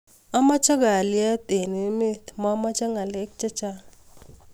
Amache Kalyet enge emeet mameche ngalek chechang